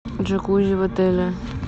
джакузи в отеле